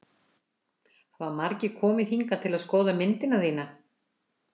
Hafa margir komið hingað til að skoða myndina þína?